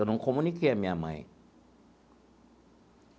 Eu não comuniquei a minha mãe.